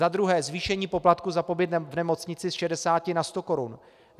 Za druhé zvýšení poplatku za pobyt v nemocnici z 60 na 100 korun.